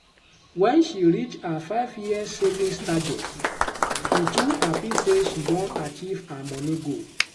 when she reach her 5-year savings target she too happy say she don achieve her money goal.